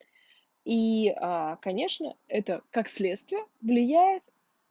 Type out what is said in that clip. и аа конечно это как следствие влияет